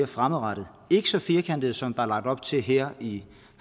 fremadrettet ikke så firkantet som er lagt op til her i